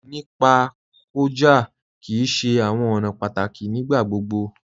Nípa kọja kí í ṣè àwọn ọ̀nà pátákí nígbàgbogbo.